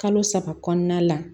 Kalo saba kɔnɔna la